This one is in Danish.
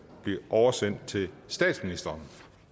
oversendt til statsministeren